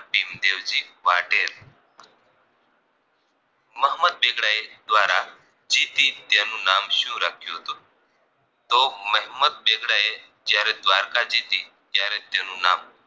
મોહમ્મદ બેગડાએ દ્વારા જીતી તેનું નામ શું રાખ્યું હતું તો મોહમ્મદ બેગડાએ જયારે દ્વારકા જીતી ત્યારે તેનું નામ